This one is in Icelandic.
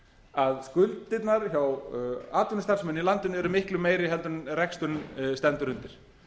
að skuldirnar hjá atvinnustarfseminni í landinu eru miklu meiri heldur en reksturinn stendur undir